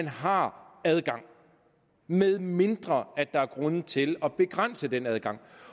har adgang medmindre der er grunde til at begrænse den adgang